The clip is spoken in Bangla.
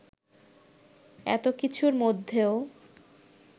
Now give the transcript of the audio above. এতো কিছুর মধ্যেও